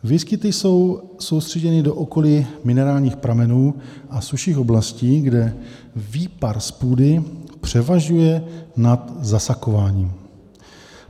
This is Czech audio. Výskyty jsou soustředěny do okolí minerálních pramenů a sušších oblastí, kde výpar z půdy převažuje nad zasakováním.